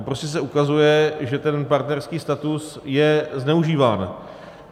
Tam prostě se ukazuje, že ten partnerský status je zneužíván.